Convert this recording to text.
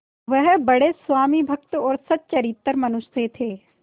वह बड़े स्वामिभक्त और सच्चरित्र मनुष्य थे